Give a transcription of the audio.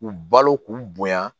K'u balo k'u bonya